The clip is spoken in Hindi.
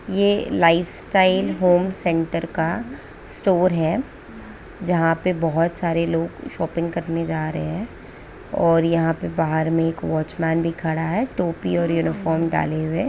यह लाइफ़स्टाइल होम सेंटर का स्टोर है जहां पर बहुत सारे लोग शॉपिंग करने जा रहें हैं और यहां पर बाहर में एक वॉचमैन भी खड़ा है टोपी और यूनिफॉर्म डाले हुए--